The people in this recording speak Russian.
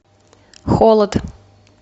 холод